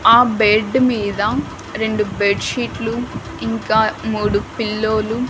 ఆ బెడ్ మీద రెండు బెడ్ షీట్లు ఇంకా మూడు పిల్లోలు .